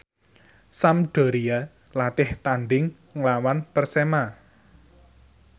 Sampdoria latih tandhing nglawan Persema